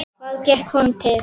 Hvað gekk honum til?